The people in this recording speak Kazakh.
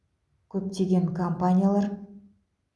көптеген компаниялар